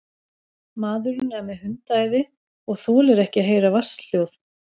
Maðurinn er með hundaæði og þolir ekki að heyra vatnshljóð.